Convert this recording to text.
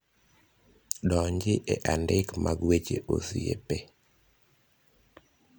donji e andike mag weche osiepe